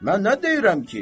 Mən nə deyirəm ki?